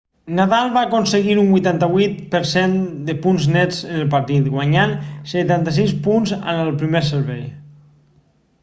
nadal va aconseguir un 88% de punts nets en el partit guanyant 76 punts amb el primer servei